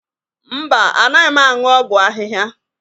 Mba, anaghị m aṅụ ọgwụ ahihia.